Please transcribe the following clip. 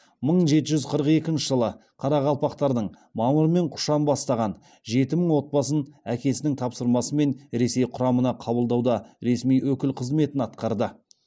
мың жеті жүз қырық екінші жылы қарақалпақтардың мамыр мен құшан бастаған жеті мың отбасын әкесінің тапсырмасымен ресей құрамына қабылдауда ресми өкіл қызметін атқарды